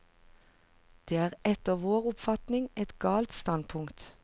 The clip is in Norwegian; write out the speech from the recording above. Det er etter vår oppfatning et galt standpunkt.